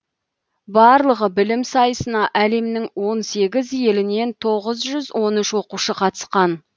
барлығы білім сайысына әлемнің он сегіз елінен тоғыз жүз он үш оқушы қатысқан